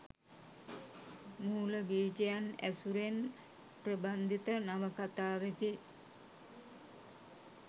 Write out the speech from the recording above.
මූල බීජයන් ඇසුරෙන් ප්‍රබන්ධිත නවකථාවෙකි.